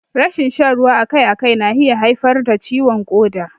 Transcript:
Rashin shan ruwa akai akai na iya haifar da ciwon ƙoda.